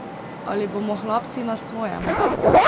Ali bomo hlapci na svojem?